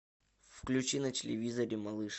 включи на телевизоре малыш